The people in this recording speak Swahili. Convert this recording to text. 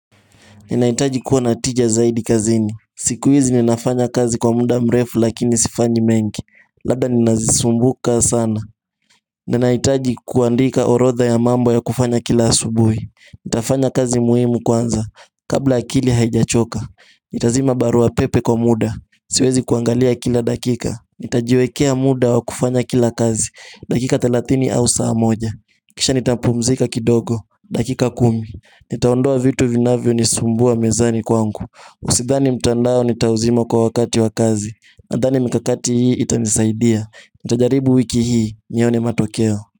Ninaitaji kuwa natija zaidi kazini siku hizi ninafanya kazi kwa muda mrefu lakini sifanyi mengi Labda ninazisumbuka sana Ninaitaji kuandika orodha ya mambo ya kufanya kila asubui Nitafanya kazi muhimu kwanza Kabla akili haijachoka Nitazima barua pepe kwa muda Siwezi kuangalia kila dakika Nitajiwekea muda wa kufanya kila kazi dakika 30 au saa moja Kisha nitampumzika kidogo dakika 10 Nitaondoa vitu vinavyo nisumbua mezani kwangu Usidhani mtandao nitauzima kwa wakati wakazi Nadhani mkakati hii itamisaidia Nitajaribu wiki hii Nyone matokeo.